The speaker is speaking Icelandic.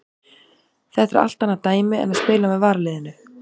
Þetta er allt annað dæmi en að spila með varaliðinu.